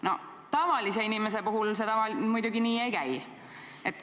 Noh, tavalise kodaniku puhul see muidugi nii ei käi.